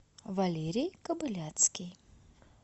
валерий кобыляцкий